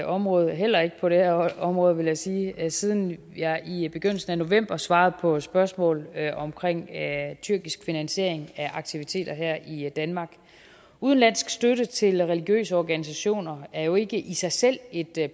område heller ikke på det her område vil jeg sige siden jeg i begyndelsen af november svarede på spørgsmål omkring tyrkisk finansiering af aktiviteter her i danmark udenlandsk støtte til religiøse organisationer er jo ikke i sig selv et